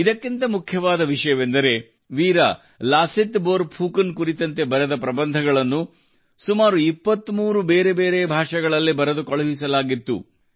ಇದಕ್ಕಿಂತ ಮುಖ್ಯವಾದ ವಿಷಯವೆಂದರೆ ವೀರ ಲಾಸಿತ್ ಬೋರ್ ಫುಕನ್ ಕುರಿತಂತೆ ಬರೆದ ಪ್ರಬಂಧಗಳನ್ನು ಸುಮಾರು 23 ಬೇರೆ ಬೇರೆ ಭಾಷೆಗಳಲ್ಲಿ ಬರೆದು ಕಳುಹಿಸಲಾಗಿತ್ತು